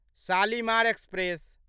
Shalimar express